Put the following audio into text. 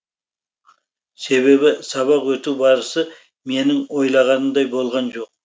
себебі сабақ өту барысы менің ойлағанымдай болған жоқ